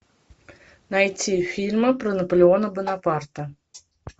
найти фильмы про наполеона бонапарта